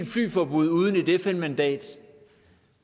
flyforbud uden et fn mandat